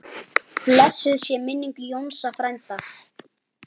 Blessuð sé minning Jónsa frænda.